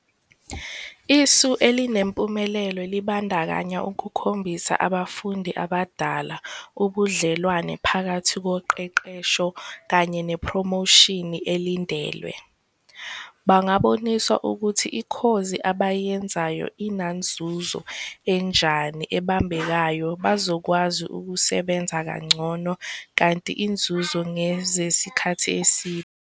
Isu elinempumelelo libandakanya ukukhombisa abafundi abadala ubudlelwane phakathi koqeqesho kanye nepromoshini elindelwe, bangaboniswa ukuthi ikhozi abayenzayo inanzuzo enjani ebambekayo, bozokwazi ukusebenza kangcono kanti izinzuzo ngezesikhathi eside..